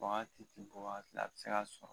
Wagati ɛ bɔ wagati la a bɛ se ka sɔrɔ